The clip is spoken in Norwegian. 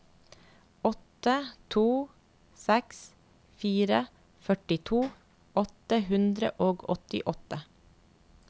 åtte to seks fire førtito åtte hundre og åttiåtte